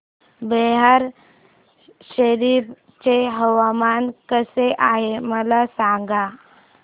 बिहार शरीफ चे हवामान कसे आहे मला सांगा